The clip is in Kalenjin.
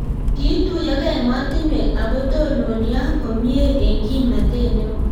kiituyokei emotinwek ako tononio komie eng' kimnatet neo